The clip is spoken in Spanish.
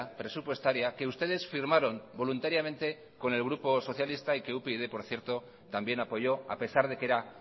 presupuestaria que ustedes firmaron voluntariamente con el grupo socialista y que upyd por cierto también apoyó a pesar de que era